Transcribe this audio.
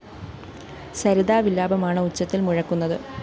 സരിതാ വിലാപമാണ് ഉച്ചത്തില്‍ മുഴക്കുന്നത്